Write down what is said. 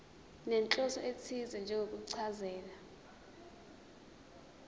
nenhloso ethize njengokuchaza